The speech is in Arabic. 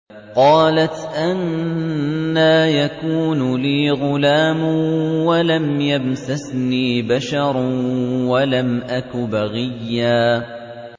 قَالَتْ أَنَّىٰ يَكُونُ لِي غُلَامٌ وَلَمْ يَمْسَسْنِي بَشَرٌ وَلَمْ أَكُ بَغِيًّا